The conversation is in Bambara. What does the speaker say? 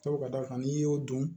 Sabu ka d'a kan n'i y'o dɔn